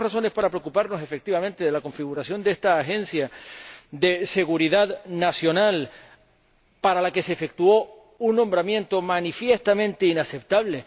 Y tenemos razones para preocuparnos, efectivamente, de la configuración de esta agencia de seguridad nacional para la que se efectuó un nombramiento manifiestamente inaceptable.